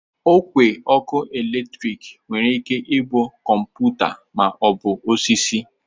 Ogwe eletriki nwere ike ịbụ kọmpụta ma ọ bụ osisi